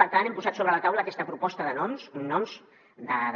per tant hem posat sobre la taula aquesta proposta de noms noms